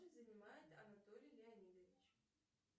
занимает анатолий леонидович